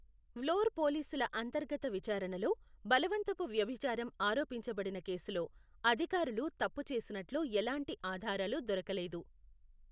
వ్లోర్ పోలీసుల అంతర్గత విచారణలో, బలవంతపు వ్యభిచారం ఆరోపించబడిన కేసులో, అధికారులు తప్పు చేసినట్లు ఎలాంటి ఆధారాలు దొరకలేదు.